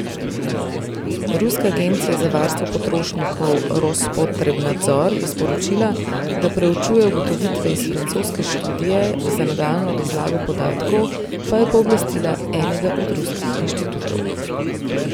Ruska agencija za varstvo potrošnikov Rospotrebnadzor je sporočila, da preučuje ugotovitve iz francoske študije, za nadaljnjo razlago podatkov pa je pooblastila enega od ruskih inštitutov.